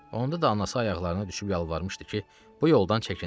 Onda da anası ayaqlarına düşüb yalvarmışdı ki, bu yoldan çəkinsin.